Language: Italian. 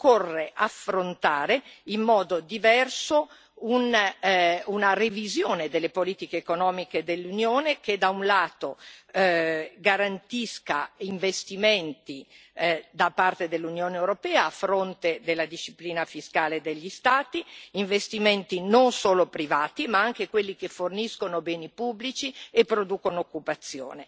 Occorre affrontare in modo diverso una revisione delle politiche economiche dell'Unione, che da un lato, garantisca investimenti da parte dell'Unione europea, a fronte della disciplina fiscale e degli Stati, investimenti non solo privati ma anche quelli che forniscono beni pubblici e producono occupazione.